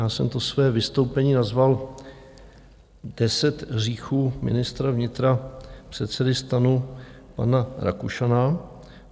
Já jsem to své vystoupení nazval deset hříchů ministra vnitra, předsedy STANu, pana Rakušana.